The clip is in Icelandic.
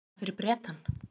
Vinna fyrir Bretann?